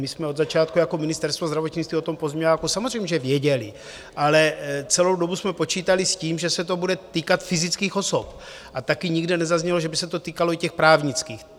My jsme od začátku jako Ministerstvo zdravotnictví o tom pozměňováku samozřejmě věděli, ale celou dobu jsme počítali s tím, že se to bude týkat fyzických osob, a taky nikde nezaznělo, že by se to týkalo i těch právnických.